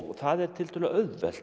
það er tiltölulega auðvelt